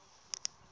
leyi u ri karhi u